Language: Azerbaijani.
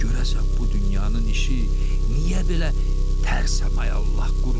Görəsən, bu dünyanın işi niyə belə tərsəmə ay Allah qurulub?